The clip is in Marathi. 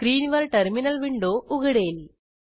स्क्रीनवर टर्मिनल विंडो उघडेल